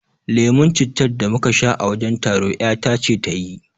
Lemon cittar da muka sha a wajen taro ƴata ce ta yi